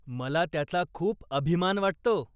मला त्याचा खूप अभिमान वाटतो.